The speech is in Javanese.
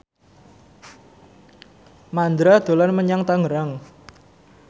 Mandra dolan menyang Tangerang